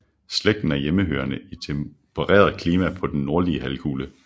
Slægten er hjemmehørende i tempereret klima på den nordlige halvkugle